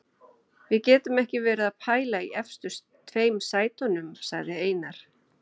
Við getum ekki verið að pæla í efstu tveim sætunum, sagði Einar.